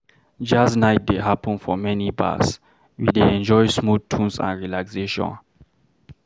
Jazz night dey happen for many bars, we dey enjoy smooth tunes and relaxation.